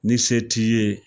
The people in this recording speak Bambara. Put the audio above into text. Ni se t'i ye